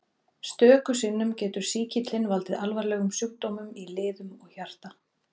Stöku sinnum getur sýkillinn valdið alvarlegum sjúkdómum í liðum og hjarta.